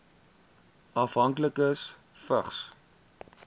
afhanklikes vigs